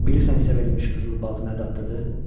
Bilirsən hisə verilmiş qızıl balıq nə dadlıdır?